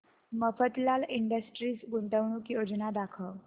Mafatlal industries गुंतवणूक योजना दाखव